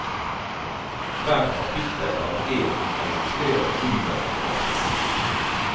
Hvert kapittel har én eller flere underoverskrifter.